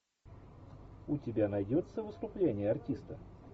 у тебя найдется выступление артиста